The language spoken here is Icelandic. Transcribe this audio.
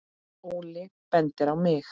Óli bendir á mig